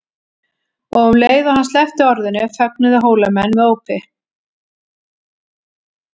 Og um leið og hann sleppti orðinu fögnuðu Hólamenn með ópi.